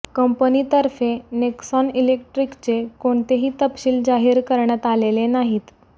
कंपनीतर्फे नेक्सॉन इलेक्ट्रिकचे कोणतेही तपशील जाहीर करण्यात आलेले नाहीत